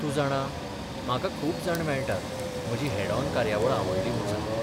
तूं जाणा, म्हाका खूब जाण मेळटात म्हजी हेड ऑन कार्यावळ आवडली म्हूण सांगपी.